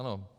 Ano.